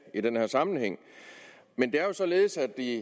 i den her sammenhæng men det er jo således at i